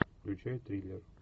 включай триллер